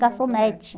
Garçonete.